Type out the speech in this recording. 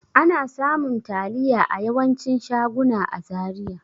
Ana samun taliya a yawancin shaguna a Zaria.